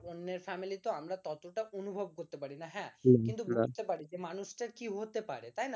অন্যের family ত আমরা ততটা অনুভব করতে পারি না হ্যাঁ কিন্তু বুঝতে পারি যে মানুষটা কি হতে পারে তাই না